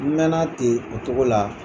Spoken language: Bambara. N mɛn na ten o cogo la.